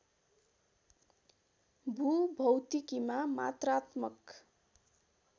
भूभौतिकीमा मात्रात्मक